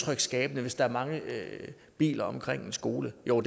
hvis der er mange biler omkring en skole jo